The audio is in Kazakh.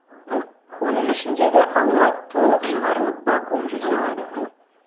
оның ішіндегі ауа толық шығарылып вакуум жасалады